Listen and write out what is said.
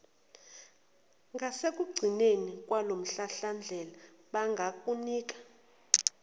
ngasekugcineni kwalomhlahlandlela bangakunika